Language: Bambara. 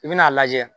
I bɛn'a lajɛ